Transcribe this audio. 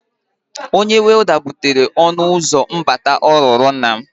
Onye welda butere ọnụụzọ mbata ọ rụrụ nna m.